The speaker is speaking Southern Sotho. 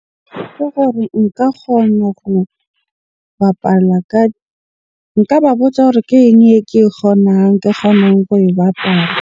Ke gore nka kgona ho bapala ka, nka ba botsa hore ke eng eke e kgonang kgonang ho e bapala.